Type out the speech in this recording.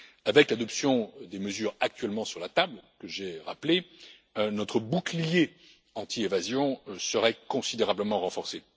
nous. Avec l'adoption des mesures actuellement sur la table, que j'ai rappelées, notre bouclier anti évasion serait considérablement renforcé.